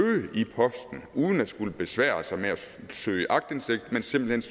i posten uden at skulle besvære sig med at søge aktindsigt men simpelt